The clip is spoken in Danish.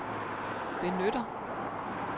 benytter